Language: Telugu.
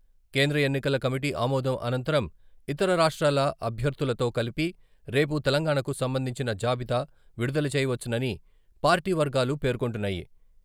కేంద్ర ఎన్నికల కమిటీ ఆమోదం అనంతరం ఇతర రాష్ట్రాల అభ్యర్థులతో కలిపి రేపు తెలంగాణాకు సంబంధించిన జాబితా విడుదలచేయవచ్చునని పార్టీ వర్గాలు పేర్కొంటున్నాయి.